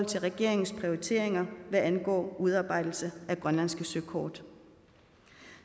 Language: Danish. til regeringens prioriteringer hvad angår udarbejdelse af grønlandske søkort